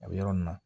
A bɛ yɔrɔ min na